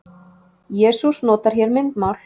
Jesús notar hér myndmál.